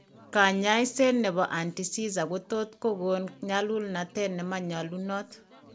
Kanyaiset nebo anti seizure kotot ko gon nyalulnatet ne manyalunot